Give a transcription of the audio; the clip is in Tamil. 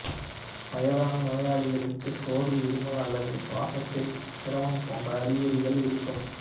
வயதான நோயாளிகளுக்கு சோர்வு இருமல் அல்லது சுவாசித்தலில் சிரமம் போன்ற அறிகுறிகள் இருக்கும்